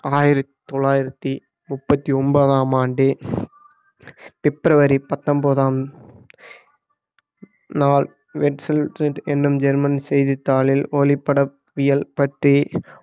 ஆயிரத்தி தொள்ளாயிரத்தி முப்பத்தி ஒன்பதாம் ஆண்டு பிப்ரவரி பத்தொம்போதாம் நாள் என்னும் ஜெர்மன் செய்தித்தாளில் ஒளிபடப்பியல் பற்றி